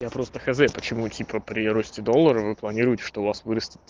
я просто хз почему типа при росте доллара вы планируете что у вас вырастит